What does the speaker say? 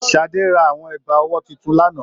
Sadé rà àwọn ẹgba ọwọ títún l'ana.